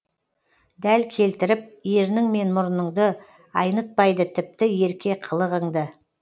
дәл келтіріп ернің мен мұрныңды айнытпайды тіпті ерке қылығыңды